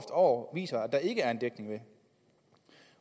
år viser at der ikke er en dækning